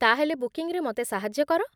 ତା'ହେଲେ ବୁକିଙ୍ଗ୍‌ରେ ମୋତେ ସାହାଯ୍ୟ କର।